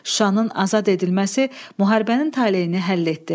Şuşanın azad edilməsi müharibənin taleyini həll etdi.